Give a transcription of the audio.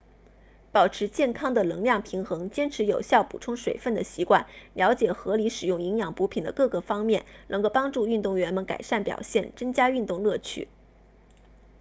保持健康的能量平衡坚持有效补充水分的习惯了解合理使用营养补品的各个方面能够帮助运动员们改善表现增加运动乐趣